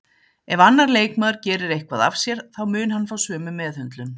Ef annar leikmaður gerir eitthvað af sér þá mun hann fá sömu meðhöndlun